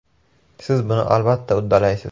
Siz buni albatta uddalaysiz.